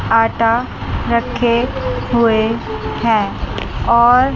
आटा रखे हुए हैं और--